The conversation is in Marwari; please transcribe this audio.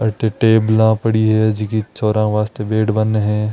टेबला पड़ी है जकी छोरा वास्ते बैठ बाने है।